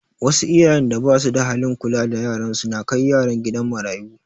Wasu iyayen da basu da halin kula da yaran su na kai yaran kidan marayu